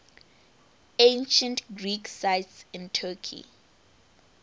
ancient greek sites in turkey